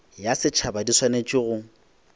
ya setšhaba di swanetše go